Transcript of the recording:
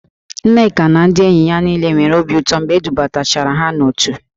Nneka na ndị enyi ya niile nwere obi ụtọ mgbe e dubatachara ha n'òtù